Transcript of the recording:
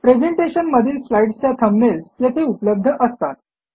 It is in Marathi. प्रेझेंटेशन मधील स्लाईडसच्या थंबनेल्स येथे उपलब्ध असतात